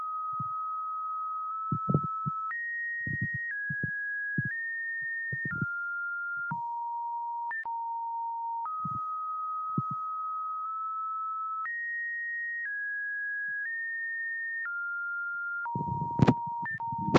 Bishaan baay'ee bareedaafi halluun Isaa magariisa ta'eedha. bishaan kana daangaan Isaa tabba olka'aadhaan marfamee Kan argamuudha. naannawa bishaan kanaatti lafa marga magariisa gabutu jira. biishaan ciiseeti jiruufi tabbi daangaa Isaa marseee jiru baay'ee nama hawata.